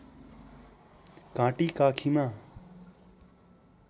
घाँटी काखीमा